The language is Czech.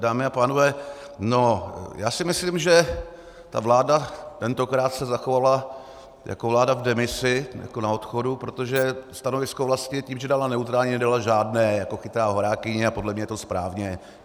Dámy a pánové, já si myslím, že ta vláda tentokrát se zachovala jako vláda v demisi, jako na odchodu, protože stanovisko vlastně tím, že dala neutrální, nedala žádné jako chytrá horákyně, a podle mě je to správně.